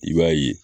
I b'a ye